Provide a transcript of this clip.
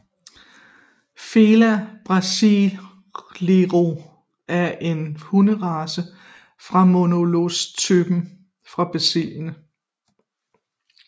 Fila Brasileiro er en hunderace af molossertypen fra Brasilien